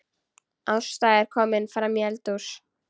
Ásta er komin framí eldhús.